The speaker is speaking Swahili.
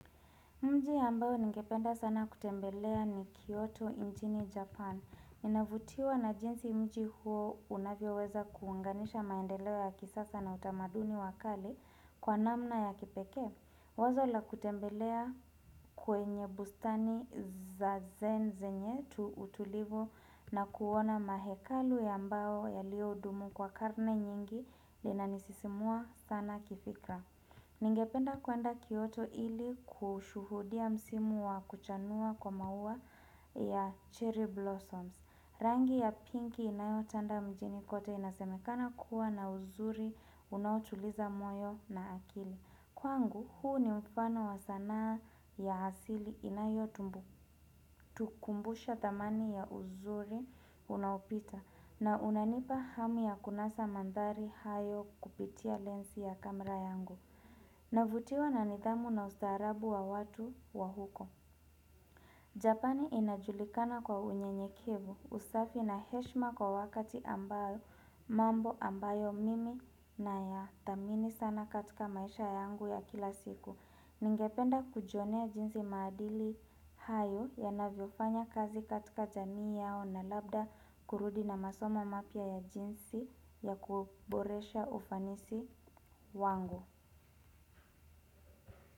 Mji ambao ningependa sana kutembelea ni Kyoto nchini Japan. Ninavutiwa na jinsi mji huo unavyoweza kuunganisha maendeleo ya kisasa na utamaduni wa kale kwa namna ya kipekee. Wazo la kutembelea kwenye bustani za zen zenye tu utulivu na kuona mahekalu ya ambao yalioudumu kwa karne nyingi linanisisimua sana kifikra. Ningependa kuenda kyoto ili kushuhudia msimu wa kuchanua kwa maua ya cherry blossoms rangi ya pinky inayotanda mjini kote inasemekana kuwa na uzuri unaotuliza moyo na akili Kwangu huu ni mfano wa sanaa ya hasili inayo tukumbusha dhamani ya uzuri unapita na unanipa hamu ya kunasa mandhari hayo kupitia lensi ya kamera yangu Navutiwa na nidhamu na ustaarabu wa watu wa huko Japani inajulikana kwa unyenyekevu usafi na heshima kwa wakati ambayo mambo ambayo mimi na ya thamini sana katika maisha yangu ya kila siku Ningependa kujionea jinsi maadili hayo yanavyofanya kazi katika jamii yao na labda kurudi na masomo mapya ya jinsi ya kuboresha ufanisi wangu.